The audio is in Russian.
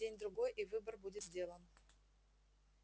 день-другой и выбор будет сделан